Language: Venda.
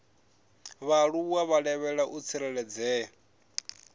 vhaaluwa vha lavhelwa u tsireledzea